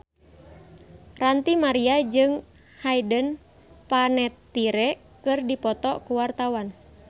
Ranty Maria jeung Hayden Panettiere keur dipoto ku wartawan